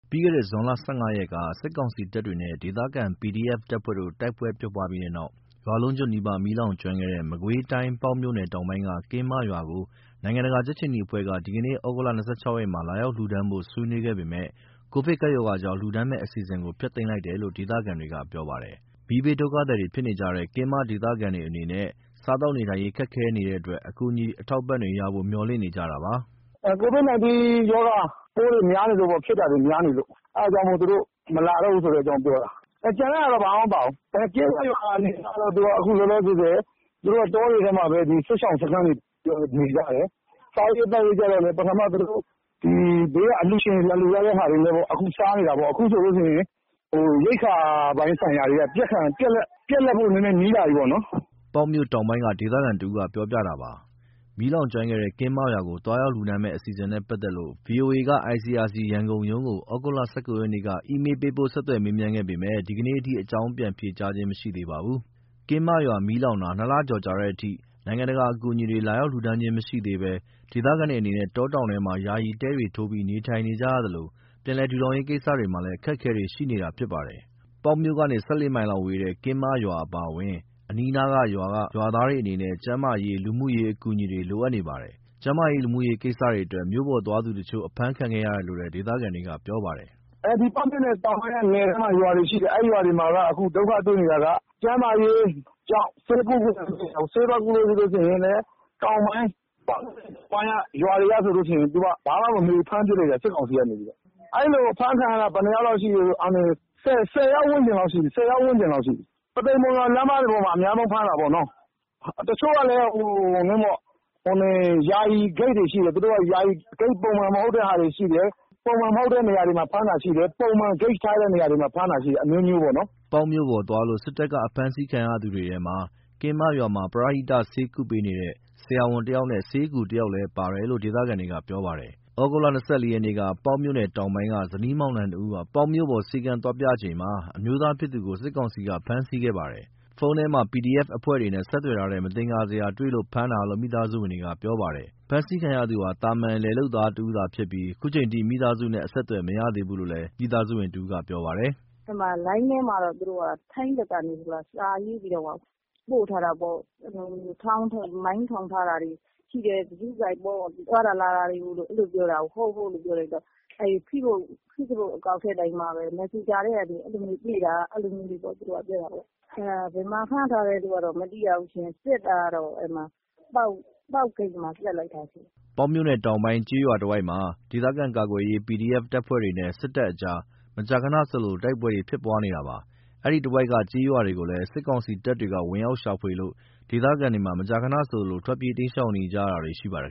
ပြီးခဲ့တဲ့ ဇွန် ၁၅ ရက်က စစ်ကောင်စီတပ်တွေနဲ့ ဒေသခံ PDF တပ်ဖွဲ့တို့ တိုက်ပွဲဖြစ်ပြီးတဲ့နောက် ရွာလုံးကျွတ် နီးပါး မီးလောင်ကျွမ်းခဲ့တဲ့ မကွေးတိုင်း ပေါက်မြို့နယ် တောင်ပိုင်းက ကင်းမရွာကို နိုင်ငံတကာ ကြက်ခြေနီအဖွဲ့က ဒီကနေ့ သြဂုတ် ၂၆ ရက်မှာ လာရောက်လှူဒါန်းဖို့ ဆွေးနွေးခဲ့ပေမယ့် ကိုဗစ်ကပ်ရောဂါကြောင့် လှူဒါန်းမယ့်အစီအစဉ်ကို ဖျက်သိမ်းလိုက်တယ်လို့ ဒေသခံတွေကပြောပါတယ်။ မီးဘေးဒုက္ခသည်ဖြစ်နေကြတဲ့ ကင်းမဒေသခံတွေအနေနဲ့ စားသောက်နေထိုင်ရေး ခက်ခဲနေတဲ့အတွက် အကူအညီ အထောက်အပံ့တွေရဖို့ မေ ျှာ်လင့်နေကြတာပါ။ “COVID-19 ရောဂါပိုးတွေ ဖြစ်တာများနေလို့ အဲ့ဒါကြောင့်မို့ သူတို့မလာတော့ဘူးဆိုတဲ့အကြောင်းပြောတာ။ ကျန်တဲ့ဟာတွေဘာမှမပြောဘူး။ အခုလောလောဆယ် ကင်းမရွာအနေအထားကတော့ တောတွေထဲမှာပဲ စစ်ရှောင်စခန်းတွေနဲ့ နေကြတယ်။ စားရေးသောက်ရေးကြတော့လည်း ပထမ သူတို့ဘေးက အလှူရှင်တွေ လာလှူထားတဲ့ဟာတွေနဲ့ စားနေတာပေါ့။ အခုဆိုရင် ရိက္ခာပိုင်းဆိုင်ရာတွေက ပြတ်လပ်ဖို့ နီးလာပြီပေါ့။" ပေါက်မြို့တောင်ပိုင်းက ဒေသခံတဦးပြောပြတာပါ။ မီးလောင်ကျွမ်းခဲ့တဲ့ ကင်းမရွာကို သွားရောက်လှူဒါန်းမယ့် အစီအစဉ်နဲ့ ပတ်သက်လို့ ဗွီအိုအေက ICRC ရန်ကုန်ရုံးကို သြဂုတ် ၁၉ ရက်က အီးမေလ်းပို့ ဆက်သွယ်မေးမြန်းခဲ့ပေမယ့် ဒီကနေ့အထိ အကြောင်းပြန်ဖြေကြားခြင်းမရှိသေးပါဘူး။ ကင်းမရွာမီးလောင်တာ ၂ လကျော်ကြာတဲ့အထိ နိုင်ငံတကာအကူအညီတွေ လာရောက်လှူဒါန်းတာမရှိသေးဘဲ ဒေသခံတွေအနေနဲ့ တောတောင်တွေထဲမှာ ယာယီတဲတွေထိုးပြီးနေထိုင်နေရသလို ပြန်လည် ထူထောင်ရေးကိစ္စတွေမှာ အခက်အခဲတွေရှိနေတာဖြစ်ပါတယ်။ ပေါက်မြို့ကနေ ၁၄ မိုင်လောက်ဝေးတဲ့ ကင်းမရွာအပါအဝင် အနီးအနားရွာတွေက ရွာသားတွေအနေနဲ့ ကျန်းမာရေး၊ လူမှုရေးအကူအညီတွေ လိုအပ်နေပါတယ်။ ကျန်းမာရေး၊ လူမှုရေးကိစ္စတွေအတွက် မြို့ပေါ်သွားသူတချို့ အဖမ်းခံခဲ့ရတယ်လို့ ဒေသခံတွေက ပြောပါတယ်။ "ပေါက်မြို့နယ်တောင်ပိုင်းက နယ်ထဲက ရွာတွေမှာက ဒုက္ခတွေ့နေတာက ကျန်းမာရေးကြောင့် ဆေးသွားကုလို့မရဘူး။ ဆေးသွားကုလို့ ပေါက်မြို့နယ် တောင်ပိုင်းက ရွာတွေဆိုရင် ဘာမှမမေးဘူး ဖမ်းပစ်လိုက်တယ် စစ်ကောင်စီက။ အဲ့လိုဖမ်းခံရတာ ဘယ်နှယောက်လောက် ရှိပြီလဲဆိုရင် ၁၀ ယောက်ဝန်းကျင်လောက်ရှိပြီ။ ပုသိမ် မုံရွာလမ်းမှာ အဓိကဖမ်းတာပေါ့။ တချို့ဆို ယာယီဂိတ်တွေရှိတယ်။ သူတို့က ယာယီဂိတ် ပုံမှန်မဟုတ်တဲ့ဟာတွေရှိတယ်။ ပုံမှန်မဟုတ်တဲ့ဂိတ်တွေမှာ ဖမ်းတာရှိတယ်။ ပုံမှန်မဟုတ်တဲ့ဂိတ်တွေမှာ ဖမ်းတာတွေလည်းရှိတယ်။” ပေါက်မြို့ပေါ် သွားလို့ စစ်တပ်က ဖမ်းဆီးခံရသူတွေထဲမှာ ကင်းမရွာမှာ ပရဟိတ ဆေးကုသပေးနေတဲ့ ဆရာဝန်တယောက်နဲ့ ဆေးအကူတယောက်လည်းပါတယ်လို့ ဒေသခံတွေကပြောပါတယ်။ သြဂုတ် ၂၄ ရက်ကတော့ ပေါက်မြို့နယ်တောင်ပိုင်းက ဇနီးမောင်နှံနှစ်ဦး ပေါက်မြို့ပေါ် ဆေးခန်းသွားပြချိန်မှာ အမျိုးသားဖြစ်သူကို စစ်ကောင်စီက ဖမ်းဆီးခဲ့ပါတယ်။ ဖုန်းထဲမှာ PDF အဖွဲ့တွေနဲ့ဆက်သွယ်ထားတဲ့ မသင်္ကာစရာတွေ တွေ့လို့ဖမ်းတာလို့ မိသားစုဝင်တယောက်က ပြောပါတယ်။ ဖမ်းဆီးခံရသူဟာ သာမာန် လယ်လုပ်သားတဦးသာဖြစ်ပြီး ခုချိန်အထိ မိသားစုနဲ့အဆက်အသွယ် မရသေးဘူးလို့ မိသားစုဝင်တဦးက ပြောပါတယ်။ “လိုင်းထဲမှာတော့ ထိုင်းဘက်ကနေ စာရေးပြီးတော့မှ ပို့ထားတာပေါ့။ မိုင်းထောင်ထားတာတွေရှိတယ်။ ဂရုစိုက်ပေါ့ သွားတာလာတာတွေ ရှိတယ်ပြောတာကို ဟုတ် ဟုတ်လို့ ပြောလိုက်တော့ ဖေ့ဘွတ်အကောင့် မက်ဆင်ဂျာကနေ တွေ့တာလို့ အဲ့လိုပြောတာပေါ့။ ဘယ်မှာဖမ်းထားတယ်ဆိုတာ မသိရဘူး။ စစ်တာတော့ ပေါက်ဂိတ်မှာ မိတာ။” ပေါက်မြို့နယ်တောင်ပိုင်း ကျေးရွာတွေတဝိုက်မှာ ဒေသခံကာကွယ်ရေး PDF အဖွဲ့တွေနဲ့ စစ်တပ်ကြား မကြာခဏဆိုသလို တိုက်ပွဲတွေဖြစ်ပွားနေတာပါ။ အဲဒီတဝိုက်က ကျေးရွာတွေကိုလည်း စစ်ကောင်စီတပ်တွေ ဝင်ရောက်ရှာဖွေလို့ ဒေသခံတွေမှာ မကြာခဏဆိုသလို ထွက်ပြေး တိမ်းရှောင်နေရတာတွေ ရှိနေပါတယ်